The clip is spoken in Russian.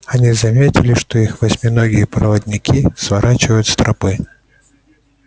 они заметили что их восьминогие проводники сворачивают с тропы